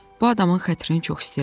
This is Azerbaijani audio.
Bu adamın xətrini çox istəyirəm.